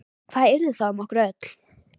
Hvað yrði þá um okkur öll?